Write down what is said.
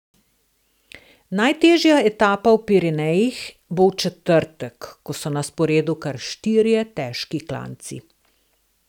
Najtežja etapa v Pirenejih bo v četrtek, ko so na sporedu kar štirje težki klanci.